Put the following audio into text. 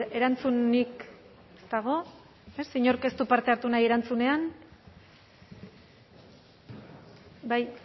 erantzunik dago inork ez du parte hartu nahi erantzunean bai